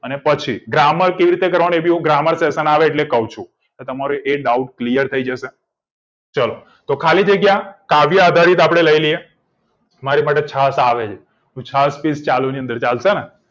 અને પછી grammar પણ કેવી રીતે કરવાનું એ ભી હું grammar session આવે એટલે કઉ છુ એ તમારો doubt clear થઈ જશે ચલો તો ખાલી જગ્યા કાવ્યા એ આધરિત આપડે લઇ લીએ મારી માટે છાછ આવે છે હું છાછ પીસ ચાલુ ની અંદર ચાલશેને